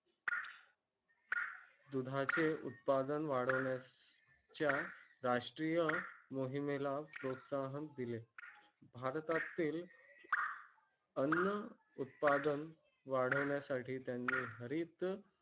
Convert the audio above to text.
दुधा चे उत्पादन वाढवण्यास. राष्ट्रीय मोहिमे ला प्रोत्साहन दिले भारतातील. अन्न उत्पादन वाढवण्या साठी त्यांनी हरित.